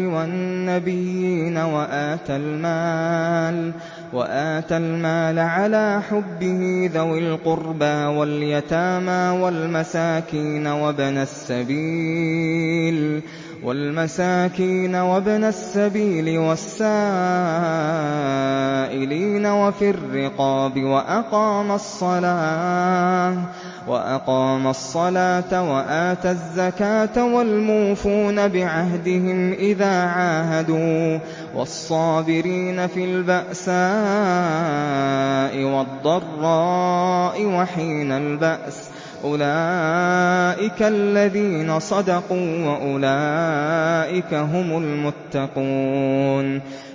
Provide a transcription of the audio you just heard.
وَالنَّبِيِّينَ وَآتَى الْمَالَ عَلَىٰ حُبِّهِ ذَوِي الْقُرْبَىٰ وَالْيَتَامَىٰ وَالْمَسَاكِينَ وَابْنَ السَّبِيلِ وَالسَّائِلِينَ وَفِي الرِّقَابِ وَأَقَامَ الصَّلَاةَ وَآتَى الزَّكَاةَ وَالْمُوفُونَ بِعَهْدِهِمْ إِذَا عَاهَدُوا ۖ وَالصَّابِرِينَ فِي الْبَأْسَاءِ وَالضَّرَّاءِ وَحِينَ الْبَأْسِ ۗ أُولَٰئِكَ الَّذِينَ صَدَقُوا ۖ وَأُولَٰئِكَ هُمُ الْمُتَّقُونَ